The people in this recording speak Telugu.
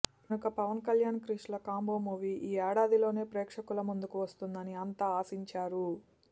కనుక పవన్ కళ్యాణ్ క్రిష్ ల కాంబో మూవీ ఈ ఏడాదిలోనే ప్రేక్షకుల ముందుకు వస్తుందని అంతా ఆశించారు